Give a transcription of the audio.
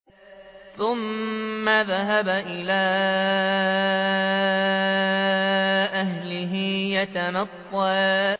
ثُمَّ ذَهَبَ إِلَىٰ أَهْلِهِ يَتَمَطَّىٰ